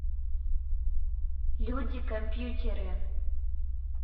люди компьютеры